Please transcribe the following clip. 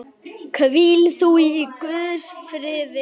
Hvíl þú í Guðs friði.